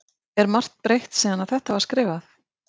Er margt breytt síðan að þetta var skrifað?